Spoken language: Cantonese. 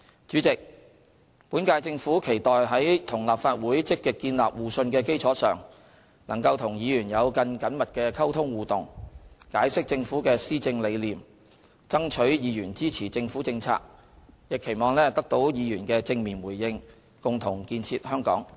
主席，本屆政府期待在與立法會積極建立互信的基礎上，能夠與議員有更緊密的溝通互動，解釋政府的施政理念，爭取議員支持政府政策，亦期望得到議員的正面回應，共同建設香港。